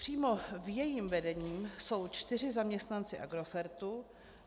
Přímo v jejím vedení jsou čtyři zaměstnanci Agrofertu.